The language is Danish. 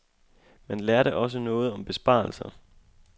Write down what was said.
Man lærte også noget om besparelser.